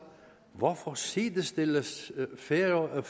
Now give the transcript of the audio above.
hvorfor sidestilles færøerne